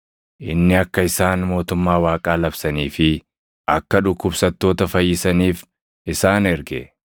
inni akka isaan mootummaa Waaqaa labsanii fi akka dhukkubsattoota fayyisaniif isaan erge.